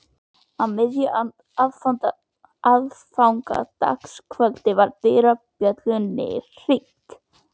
Á miðju aðfangadagskvöldi var dyrabjöllunni hringt.